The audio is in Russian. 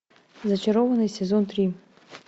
зачарованные сезон три